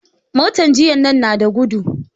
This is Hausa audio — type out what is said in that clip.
Motan jiya nan na da gudu